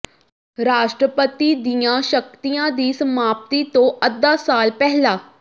ਰਾਸ਼ਟਰਪਤੀ ਦੀਆਂ ਸ਼ਕਤੀਆਂ ਦੀ ਸਮਾਪਤੀ ਤੋਂ ਅੱਧਾ ਸਾਲ ਪਹਿਲਾਂ